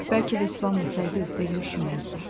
Bəlkə də islanmasaydı, belə üşüməzdi.